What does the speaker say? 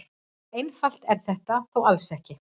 Svo einfalt er þetta þó alls ekki.